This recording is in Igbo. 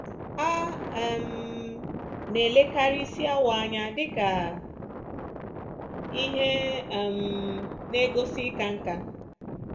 A um na-elekarị isi awọ anya dị ka ihe um na-egosi ịka nká.